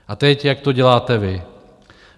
A teď, jak to děláte vy.